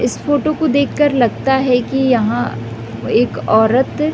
इस फोटो को देख कर लगता है की यहाँ एक औरत--